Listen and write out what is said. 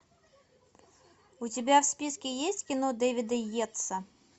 у тебя в списке есть кино дэвида йетса